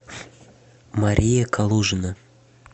мария калужина